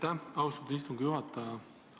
Aitäh, austatud istungi juhataja!